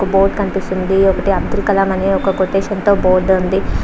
ఒక్క బోర్డు కనిపిస్తున్నది. ఒక్క అబ్దుల్ కలామ్ అనే ఒక్క కొటేషన్ తో బోర్డు ఉంది.